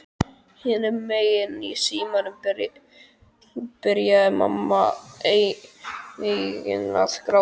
Hinum megin í símanum byrjaði mamma einnig að gráta.